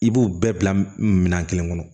I b'u bɛɛ bila minɛn kelen kɔnɔ